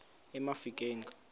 emafikeng